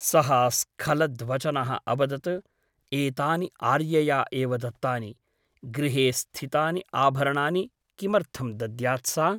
सः स्खलद्वचनः अवदत् एतानि आर्यया एव दत्तानि । गृहे स्थितानि आभरणानि किमर्थं दद्यात् सा ?